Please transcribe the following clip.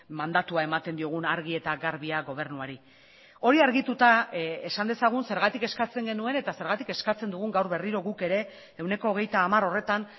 mandatua ematen diogun argi eta garbia gobernuari hori argituta esan dezagun zergatik eskatzen genuen eta zergatik eskatzen dugun gaur berriro guk ere ehuneko hogeita hamar horretan